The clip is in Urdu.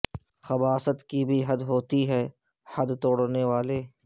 خباثت کی بھی حد ہوتی ہے حد توڑنے والے